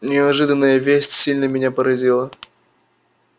неожиданная весть сильно меня поразила